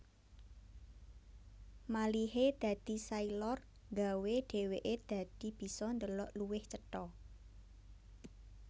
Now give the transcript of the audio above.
Malihe dadi sailor nggawé dheweke dadi bisa ndelok luwih cetha